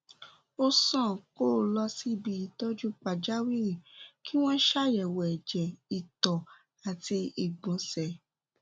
ó sàn kó o lọ síbi ìtọjú pàjáwìrì kí wọn ṣe àyẹwò ẹjẹ ìtọ àti ìgbọnsẹ